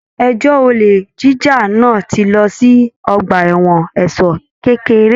Ẹjọ olè jíjà náà tí lọ sí ọgbà ẹwọn ẹ̀ṣọ kékeré.